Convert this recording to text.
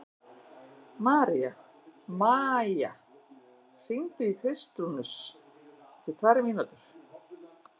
Maía, hringdu í Kristrúnus eftir tvær mínútur.